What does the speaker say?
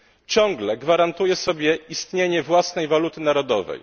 ciągle gwarantuje sobie istnienie własnej waluty narodowej.